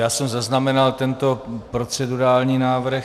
Já jsem zaznamenal tento procedurální návrh.